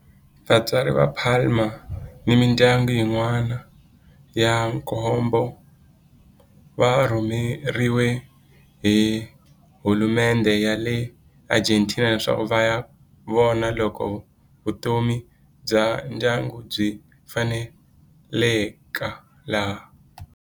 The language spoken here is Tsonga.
Vatswari va Palma ni mindyangu yin'wana ya nkombo va rhumeriwe hi hulumendhe ya le Argentina leswaku va ya vona loko vutomi bya ndyangu byi faneleka laha.